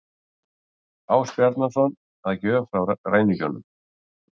Ásbjarnarson að gjöf frá ræningjunum.